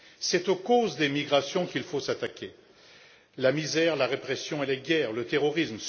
C'est aux causes des migrations qu'il faut s'attaquer la misère, la répression, les guerres et le terrorisme.